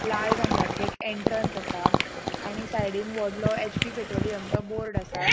लाल रंगाचे एक एन्ट्रन्स असा आणि साइडन वडलों एचपी पेट्रोलिउम चो बोर्ड आसा.